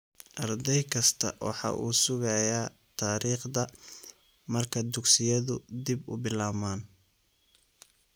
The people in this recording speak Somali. Arday kastaa waxa uu sugayaa taariikhda marka dugsiyadu dib u bilaabmaan.